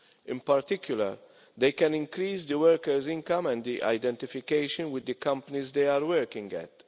In particular, they can increase workers' income and their identification with the companies they are working at.